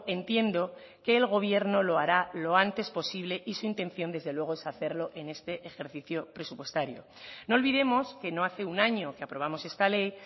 entiendo que el gobierno lo hará lo antes posible y su intención desde luego es hacerlo en este ejercicio presupuestario no olvidemos que no hace un año que aprobamos esta ley